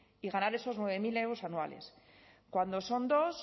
y ganar esos nueve mil euros anuales cuando son dos